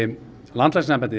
landlæknisembættið